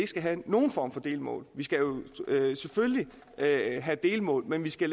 skal have nogen form for delmål vi skal selvfølgelig have delmål men vi skal